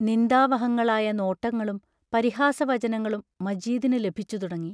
നിന്ദാവഹങ്ങളായ നോട്ടങ്ങളും പരിഹാസവചനങ്ങളും മജീദിനു ലഭിച്ചുതുടങ്ങി.